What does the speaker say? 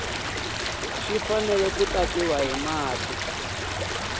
xi fanele ku tatiwa hi